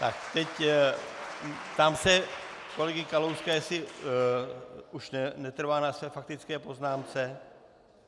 Tak teď se ptám kolegy Kalouska, jestli už netrvá na své faktické poznámce.